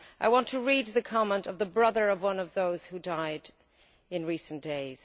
I want to read the comment of the brother of one of those who died in recent days.